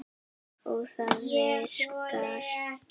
Og það virkar.